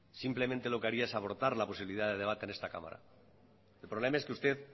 simplemente lo que haría es abortar la posibilidad de debate en esta cámara el problema es que usted